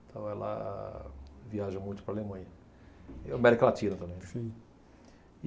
Então ela viaja muito para a Alemanha e América Latina também, né. Sim.